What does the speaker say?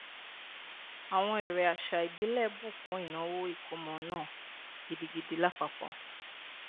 àwọn eré àṣà ìbílẹ bù kún ìnáwó ìkómọ náà gidigidi lápapọ